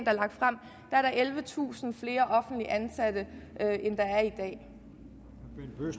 er lagt frem er der ellevetusind flere offentligt ansatte i